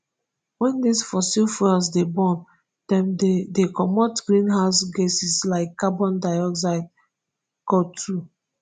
wen dis fossil fuels dey burn dem dey dey comot greenhouse gases like carbon dioxide cotwo.